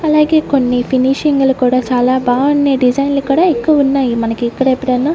అలాగే కొన్ని ఫినిషింగ్లు కూడా చాలా బావున్నాయ్ డిజైన్లు కూడా ఎక్కువ ఉన్నాయి మనకిక్కడ ఎప్పుడైనా--